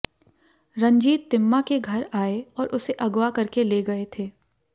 रंजीत तिम्मा के घर आए और उसे अगवा करके ले गए थे